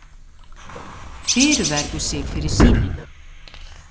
Fyrirverður sig fyrir sýnina.